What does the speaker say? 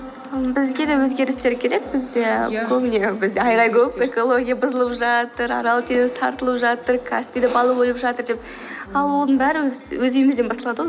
м бізге де өзгерістер керек бізде көбіне біз айғай көп экология бұзылып жатыр арал теңіз тартылып жатыр каспийда балық өліп жатыр деп ал оның бәрі өз үйімізден басталады ғой